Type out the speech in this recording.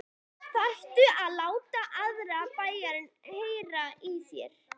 ÞARFTU AÐ LÁTA ALLAN BÆINN HEYRA Í ÞÉR!